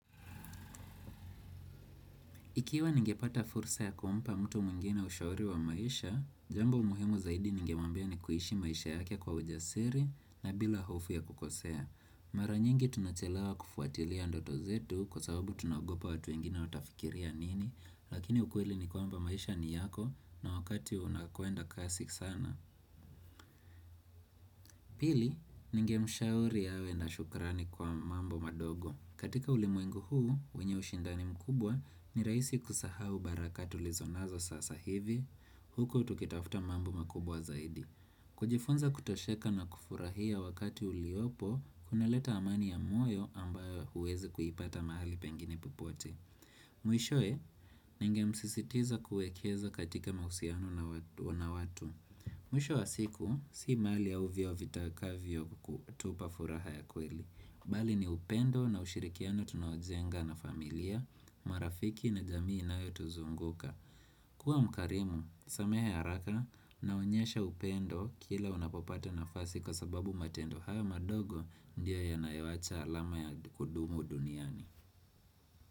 Ikiwa ningepata fursa ya kumpa mtu mwingine ushauri wa maisha, jambo muhimu zaidi ningemwambia ni kuishi maisha yake kwa ujasiri na bila hofu ya kukosea. Mara nyingi tunachelewa kufuatilia ndoto zetu kwa sababu tunaogopa watu wengine watafikiria nini, lakini ukweli ni kwamba maisha ni yako na wakati unakwenda kasi sana. Pili, ningemshauri awe na shukurani kwa mambo madogo. Katika ulimwengu huu, wenye ushindani mkubwa ni rahisi kusahau baraka tulizo nazo sasa hivi, huku tukitafuta mambo makubwa zaidi. Kujifunza kutosheka na kufurahia wakati uliopo, kunaleta amani ya moyo ambayo huwezi kuipata mahali pengine popote. Mwishowe, ningemsisitiza kuekeza katika mahusiano na watu. Mwisho wa siku, si mali au vyeo vitakavyokutupa furaha ya kweli. Bali ni upendo na ushirikiano tunaojenga na familia, marafiki na jamii inayotuzunguka. Kuwa mkarimu, samehe ya haraka inaonyesha upendo kila unapopata nafasi kwa sababu matendo haya madogo ndio yanayoacha alama ya kudumu duniani.